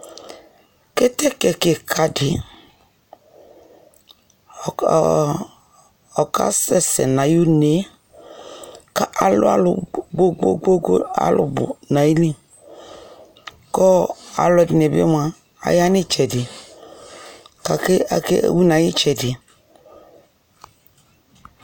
kɛtɛkɛ kikaa di ɔkasɛsɛ nʋ ayi ʋnɛ kʋ alʋ alʋ kpɔkpɔkpɔ kʋ alʋ alʋ bʋ nʋayili kʋ alʋɛdini bi mʋa aya nʋ ɛtsɛdɛ kʋ akɛ